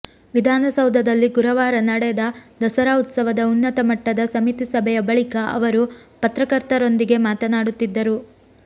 ವಿಧಾನಸೌಧದಲ್ಲಿ ಗುರುವಾರ ನಡೆದ ದಸರಾ ಉತ್ಸವದ ಉನ್ನತ ಮಟ್ಟದ ಸಮಿತಿ ಸಭೆಯ ಬಳಿಕ ಅವರು ಪತ್ರಕರ್ತರೊಂದಿಗೆ ಮಾತನಾಡುತ್ತಿದ್ದರು